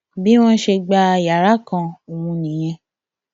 bí wọn ṣe gba yàrá kan ọhún nìyẹn